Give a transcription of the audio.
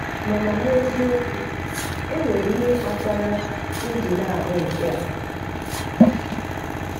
Mana n'eziokwu enwere ihe kpatara m ji na-ahụ nke a.